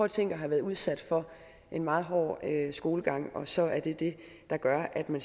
tænk at have været udsat for en meget hård skolegang og så er det det der gør at man